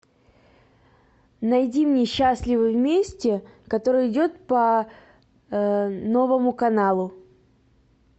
найди мне счастливы вместе который идет по новому каналу